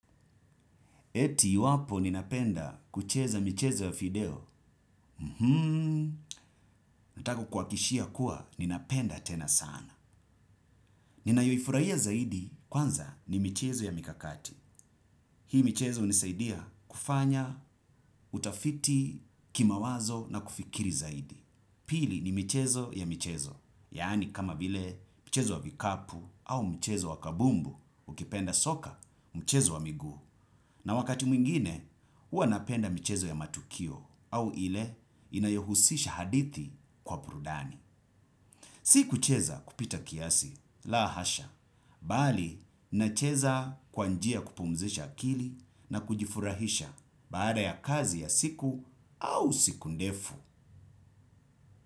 Eti iwapo ninapenda kucheza michezo ya fideo? Mhmmm, natakukuhakishia kuwa ninapenda tena sana. Ninayoifurahia zaidi kwanza ni michezo ya mikakati. Hii michezo hunisaidia kufanya utafiti kimawazo na kufikiri zaidi. Pili ni michezo ya michezo. Yaani kama bile mchezo wa vikapu au mchezo wa kabumbu ukipenda soka mchezo wa miguu. Na wakati mwingine huwa napenda michezo ya matukio. Au ile inayohusisha hadithi kwa burudani. Si kucheza kupita kiasi, la hasha. Bali, nacheza kwa njia ya kupumzisha akili na kujifurahisha baada ya kazi ya siku au siku ndefu.